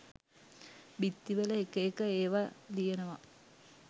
බිත්තිවල එක එක ඒවා ලියනවා.